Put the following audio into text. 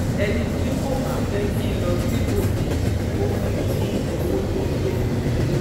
ẹni tí kò bá fẹ́ kí n lọ síbòmí-ín kò fún mi ní owó tó tó owó